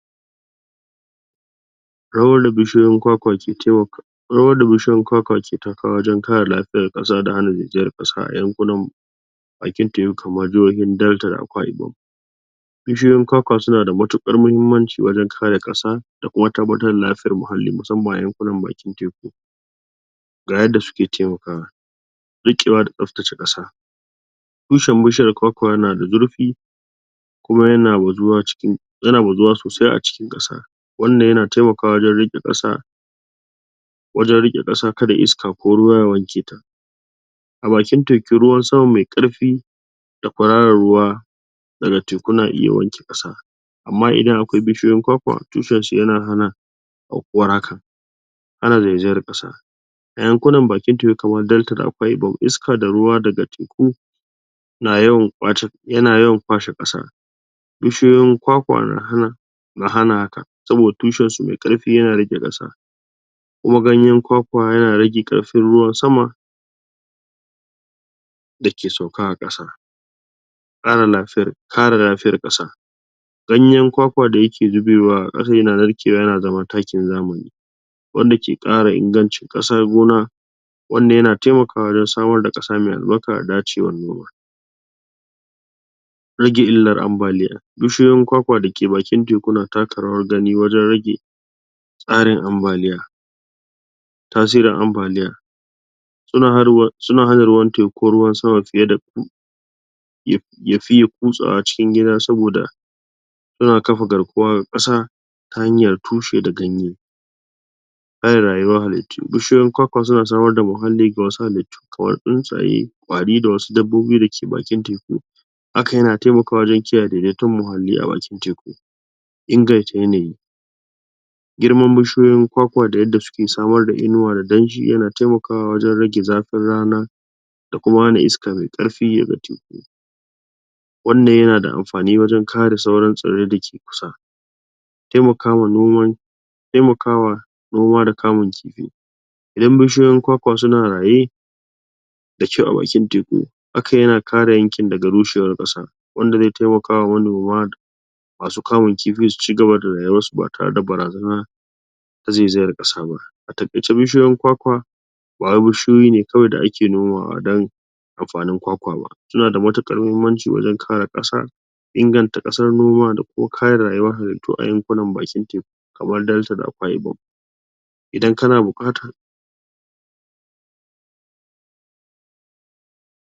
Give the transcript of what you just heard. ? Rawar da bishiyoyin kwakwa ke takawa wajen ka re lafiyar ƙasa, da hana zaizayar ƙasa a yankunan bakin teku, kamar jihohin Delta da Akwa Ibom. Bishiyoyin kwakwa suna da matuƙar muhimmanci wajen kare ƙasa da kuma tabbatar da lafiyar muhalli, musamman a yankunan bakin teku. Ga yadda suke taimakawa: riƙewa da tsaftace ƙasa, tushen bishiyar kwakwa yana da zurfi, kuma yana bazuwa? sosai a cikin ƙasa. Wannan yana taimakawa wajen riƙe ƙasa,? kada iska ko ruwa ya wanke ta. A bakin teku ruwan sama mai ƙarfi da kwararar ruwa daga teku na iya wanke ƙasa, amma idan a kwai bishiyoyin kwakwa, tushen shi yana hana aukuwar haka. Hana zaizayar ƙasa: a yankunan bakin teku kamar Delta da Akwa Ibom, iska da ruwa daga teku yana yawan kwashe ƙasa, bishiyoyin kwakwa na hana? haka, saboda tushen su mai ƙarfi yana riƙe ƙasa, kuma ganyen kwakwa yana rage ƙarfin ruwan sama da ke sauka a ƙasa. Ka re lafiyar ƙasa: ganyen kwakwa da yake zubewa a ƙasa yana narkewa yana zama takin zamani, wanda ke ƙara ingance ƙasar gona. Wannan yana taimakawa wajen samar da ƙasa mai albarka da dacewar noma. Rage illar ambaliya: bishiyoyin kwakwa da ke bakin teku na taka rawar gani wajen rage? tasirin ambaliya. Suna hana ruwan sama ko ruwan teku? ya fiya kutsawa cikin gida, saboda suna kafa garkuwa ga ƙasa, ta hanyar tushe da ganye. Ka re rayuwar halittu: bishiyoyin kwakwa suna samar da muhalli ga wasu halittu, kamar tsuntsaye, ƙwari da wasu dabbobi da ke bakin teku. Hakan yana taimakawa wajen kiyaye daidaiton muhalli a bakin teku. Inganta yanayi: girman bishiyoyin kwakwa da yadda suke samar da inuwa da danshi yana taimakawa wajen rage zafin rana, da kuma hana iska mai ƙarfi daga teku. Wannan yana da amfani wajen ka re sauran tsirrai da ke kusa? Taimakawa noma noma da kamun kifi; idan bishiyoyin kwakwa su na raye, da kyau a bakin teku, hakan yana ka re yankin daga rushewar ƙasa, wanda zai taimakawa manoma da masu kamun kifi su ci gaba da rayuwar su ba tare da barazana na zaizayar ƙasa ba. A taƙaice bishiyoyin kwakwa ba wai bishiyoyi ne kawai da a ke nomawa don amfanin kwakwa ba, su na da matuƙar muhimmanci wajen ka re ƙasa inganta ƙasar noma da kuma ka re rayuwar halittu a yankunan bakin teku, kamar Delta da Akwa Ibom. Idan kana buƙata,